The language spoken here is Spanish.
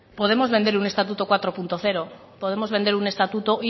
podemos vender un estatuto cuatro punto cero podemos vender un estatuto